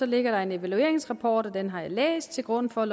ligger der en evalueringsrapport og den har jeg læst til grund for